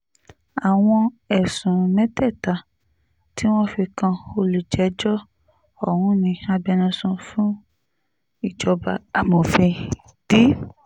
àwọn ẹ̀sùn mẹ́tẹ̀ẹ̀ta tí wọ́n fi kan olùjẹ́jọ́ ọ̀hún ni agbẹnusọ fún ìjọba amòfin d